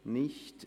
– Nein.